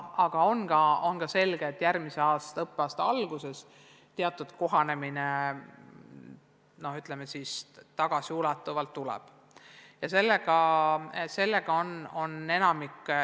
Aga on selge, et järgmise õppeaasta alguses tuleb tagasiulatuvalt läbi teha teatud kohanemine.